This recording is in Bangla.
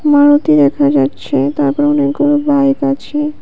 মারুতি দেখা যাচ্ছে তারপর অনেকগুলো বাইক আছে।